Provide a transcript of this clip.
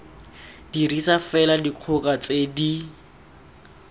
dirisa fela dikgoka tse di